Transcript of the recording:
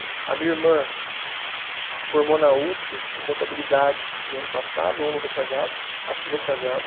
A minha irmã formou na usp, em contabilidade, no ano passado, ou no retrasado, acho que retrasado.